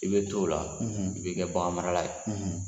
I bɛ to o la i bɛ kɛ bakarimala ye